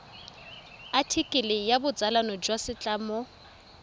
athikele ya botsalano jwa setlamo